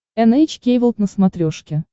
эн эйч кей волд на смотрешке